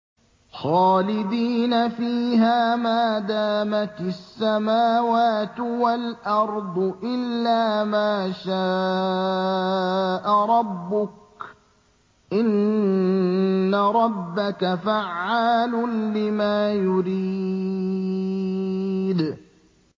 خَالِدِينَ فِيهَا مَا دَامَتِ السَّمَاوَاتُ وَالْأَرْضُ إِلَّا مَا شَاءَ رَبُّكَ ۚ إِنَّ رَبَّكَ فَعَّالٌ لِّمَا يُرِيدُ